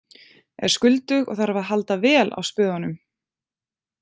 Er skuldug og þarf að halda vel á spöðunum.